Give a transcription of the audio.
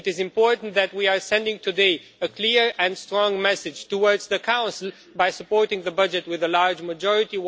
It is important that we are sending today a clear and strong message to the Council by supporting the budget with a large majority.